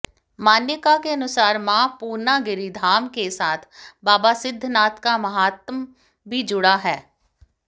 मान्यका के अनुसार मां पूर्णागिरि धाम के साथ बाबा सिद्धनाथ का महात्म भी जुड़ा है